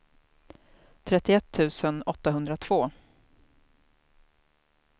trettioett tusen åttahundratvå